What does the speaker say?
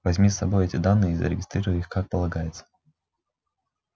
возьми с собой эти данные и зарегистрируй их как полагается